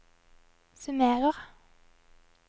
summerer